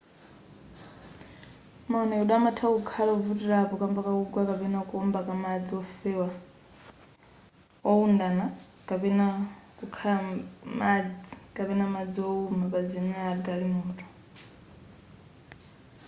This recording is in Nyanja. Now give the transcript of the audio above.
maonedwe amatha kukhala ovutirapo kamba kakugwa kapena kuwomba ka madzi ofewa wowundana kapena kukhala madzi kapena madzi wowuma pamazenera a galimoto